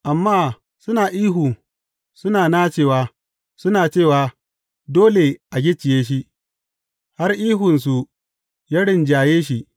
Amma suna ihu, suna nacewa, suna cewa, dole a gicciye shi, har ihunsu ya rinjaye shi.